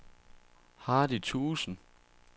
Hardy Thuesen